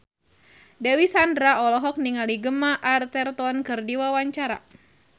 Dewi Sandra olohok ningali Gemma Arterton keur diwawancara